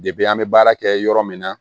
an bɛ baara kɛ yɔrɔ min na